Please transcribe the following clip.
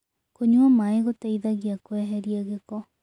Kũnyua mae gũteĩthagĩa kweherĩa gĩko